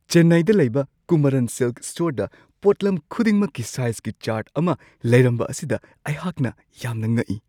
ꯆꯦꯟꯅꯥꯏꯗ ꯂꯩꯕ ꯀꯨꯃꯥꯔꯟ ꯁꯤꯜꯛ ꯁ꯭ꯇꯣꯔꯗ ꯄꯣꯠꯂꯝ ꯈꯨꯗꯤꯡꯃꯛꯀꯤ ꯁꯥꯏꯖꯀꯤ ꯆꯥꯔꯠ ꯑꯃ ꯂꯩꯔꯝꯕ ꯑꯁꯤꯗ ꯑꯩꯍꯥꯛꯅ ꯌꯥꯝꯅ ꯉꯛꯏ ꯫